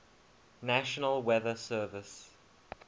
national weather service